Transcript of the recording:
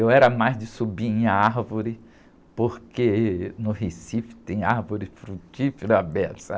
Eu era mais de subir em árvore, porque no Recife tem árvore frutífera à beça.